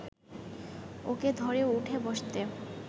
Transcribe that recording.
ওকে ধরে উঠে বসতে